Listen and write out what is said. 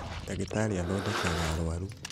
Ndagĩtarĩ athondekaga aruaru